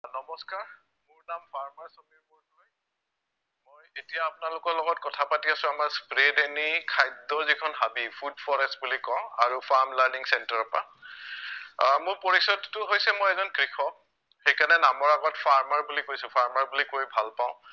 এতিয়া আপোনালোকৰ লগত কথা পাতি আছো আমাৰ spread NE খাদ্য় যিখন হাবি food forest বুলি কও আৰু ফাৰ্ম লাৰ্নিং চেন্টাৰৰ পৰা আহ মোৰ পৰিচয়টোতো হৈছে মই এজন কৃষক সেইকাৰণে নামৰ আগত farmer বুলি কৈছো farmer বুলি কৈ ভাল পাও